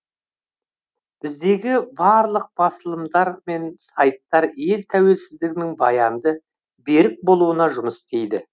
біздегі барлық басылымдар мен сайттар ел тәуелсіздігінің баянды берік болуына жұмыс істейді